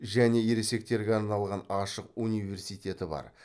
және ересектерге арналған ашық университеті бар